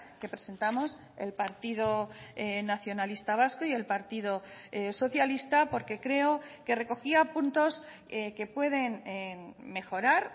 que presentamos el partido nacionalista vasco y el partido socialista porque creo que recogía puntos que pueden mejorar